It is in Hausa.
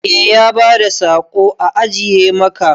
Eh ya bada saƙo a ajiye maka.